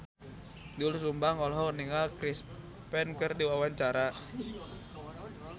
Doel Sumbang olohok ningali Chris Pane keur diwawancara